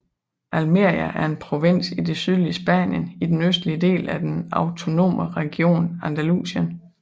Almería er en provins i det sydlige Spanien i den østlige del af den autonome region Andalusien